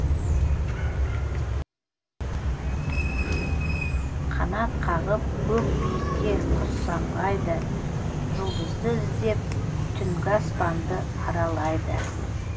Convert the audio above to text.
қанат қағып көк биікке құс самғайды жұлдызды іздеп түнгі аспанды аралайды